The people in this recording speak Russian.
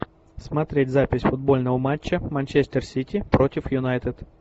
смотреть запись футбольного матча манчестер сити против юнайтед